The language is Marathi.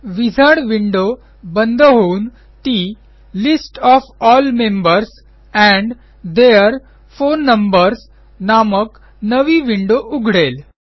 विझार्ड विंडो बंद होऊन ती list of all members and their phone numbers नामक नवी विंडो उघडेल